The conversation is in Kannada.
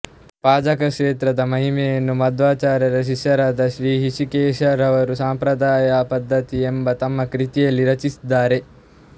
ಪಾಜಕ ಕ್ಷೇತ್ರದ ಮಹಿಮೆಯನ್ನು ಮಧ್ವಾಚಾರ್ಯರ ಶಿಷ್ಯರಾದ ಶ್ರೀ ಹೃಶಿಕೇಶ ರವರು ಸಂಪ್ರದಾಯ ಪದ್ದತ್ತಿ ಎಂಬ ತಮ್ಮ ಕೃತಿಯಲ್ಲಿ ರಚಿಸಿದ್ದಾರೆ